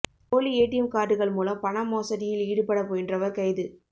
போலி ஏடிஎம் காா்டுகள் மூலம் பண மோசடியில் ஈடுபட முயன்றவா் கைது